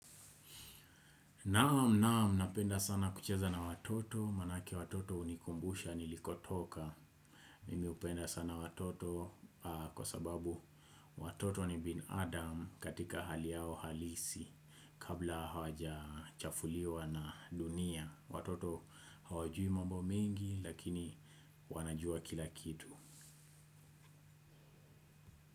Naam naam napenda sana kucheza na watoto manake watoto hunikumbusha nilikotoka. Mimi hupenda sana watoto kwa sababu watoto ni bin adam katika hali yao halisi. Kabla hawaja chafuliwa na dunia watoto hawajui mambo mengi lakini wanajua kila kitu.